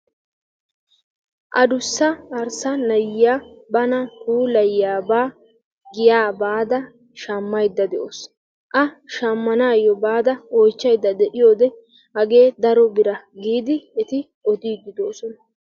Addussa arssaa na'iya bana puulayiyabaa giya bayda shammayda de'awusu. A shammanaayo baada oychchayda de'iyode hagee daro biraa giidi eti odiidi de'oosona.